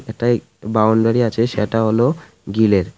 এটাই বাউন্ডারি আছে সেটা হল গিলের .